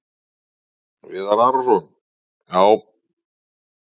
Viðar Arason: Já.